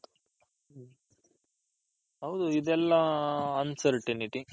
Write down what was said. ಹೌದು ಇದೆಲ್ಲ un certainty